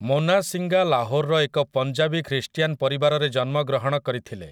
ମୋନା ସିଂଗା ଲାହୋରର ଏକ ପଞ୍ଜାବୀ ଖ୍ରୀଷ୍ଟିଆନ ପରିବାରରେ ଜନ୍ମଗ୍ରହଣ କରିଥିଲେ ।